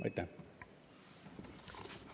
Aitäh!